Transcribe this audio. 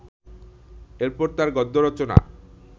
এর পর তাঁর গদ্য রচনা